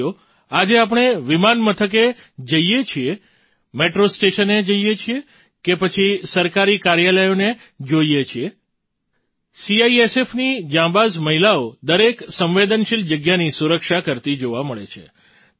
સાથીઓ આજે આપણે વિમાન મથકે જઈએ છીએ મેટ્રો સ્ટેશને જઈએ છીએ કે પછી સરકારી કાર્યાલયોને જોઈએ છીએ સીઆઈએસએફની જાબાંજ મહિલાઓ દરેક સંવેદનશીલ જગ્યાની સુરક્ષા કરતી જોવા મળે છે